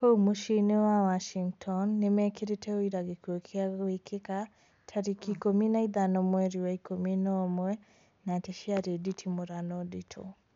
Kũu mũciĩ-inĩ wa Washington, nĩmekĩrĩte ũira gĩkuũ kĩu gwĩkĩka tarĩki ikũmi na ithano mweri wa ikũmi na umwe na atĩ ciarĩ nditimũrano nditu